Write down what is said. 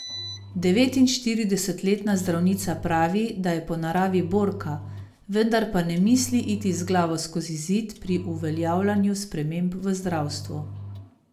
Devetinštiridesetletna zdravnica pravi, da je po naravi borka, vendar pa ne misli iti z glavo skozi zid pri uveljavljanju sprememb v zdravstvu.